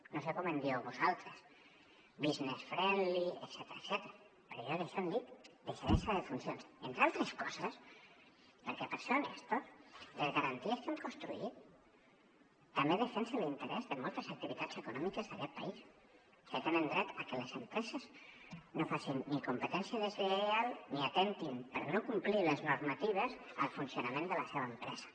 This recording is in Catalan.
no sé com en dieu vosaltres business friendly etcètera però jo d’això en dic deixadesa de funcions entre altres coses perquè per ser honestos les garanties que hem construït també defensen l’interès de moltes activitats econòmiques d’aquest país que tenen dret a que les empreses no facin ni competència deslleial ni atemptin per no complir les normatives el funcionament de la seva empresa